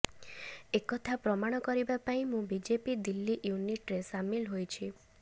ଏକଥା ପ୍ରମାଣ କରିବା ପାଇଁ ମୁଁ ବିଜେପି ଦିଲ୍ଲୀ ୟୁନିଟରେ ସାମିଲ ହୋଇଛି